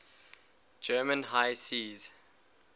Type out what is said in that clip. german high seas